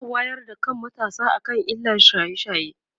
za'a wayar da kan matasa akan illar shaye shaye